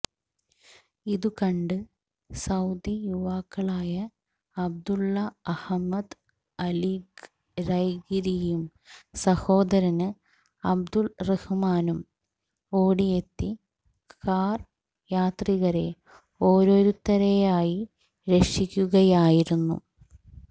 ഇതുകണ്ട് Saudi യുവാക്കളായ Abdullah Ahmad അല്ഖിരൈഖിരിയും സഹോദരന് അബ്ദുറഹ്മാനും ഓടിയെത്തി കാര് യാത്രികരെ ഓരോരുത്തരെയായി രക്ഷിക്കുകയായിരുന്നു